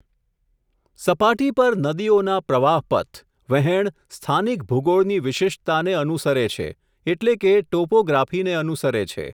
સપાટી પર નદીઓના પ્રવાહપથ, વહેંણ સ્થાનિક ભૂગોળની વિશિષ્ટતાને અનુસરે છે, એટલે કે ટોપોગ્રાફી ને અનુસરે છે.